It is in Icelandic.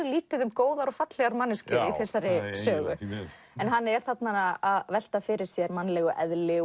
lítið um góðar og fallegar manneskjur í þessari sögu hann er þarna að velta fyrir sér mannlegu eðli